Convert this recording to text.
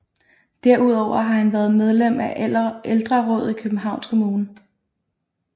Derudover har han været medlem af Ældrerådet i Københavns Kommune